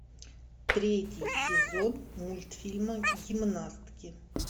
третий сезон мультфильма гимнастки